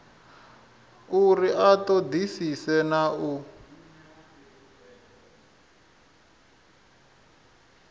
uri a ṱoḓisise na u